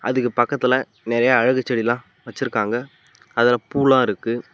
அதுக்கு பக்கத்துல நெறையா அழகு செடிலா வச்சுருக்காங்க அதுல பூலா இருக்கு.